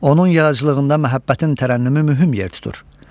Onun yaradıcılığında məhəbbətin tərənnümü mühüm yer tutur.